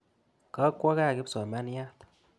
Ga kwo kaa kipsomaniat.